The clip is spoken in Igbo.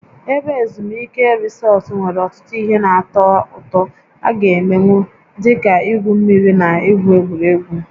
Ebe ezumike Resort nwere ọtụtụ ihe na-atọ ụtọ a gá emenwu, dị ka igwu mmiri na igwu egwuregwu